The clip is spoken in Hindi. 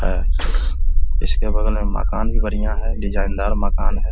अ इसके बगल मे मकान भी बढ़िया है डिजाइनदार मकान है।